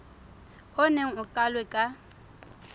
o neng o qalwe ka